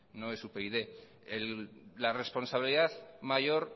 no es upyd la responsabilidad mayor